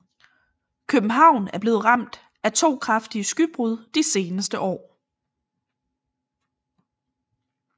København er blevet ramt af to kraftige skybrud de seneste år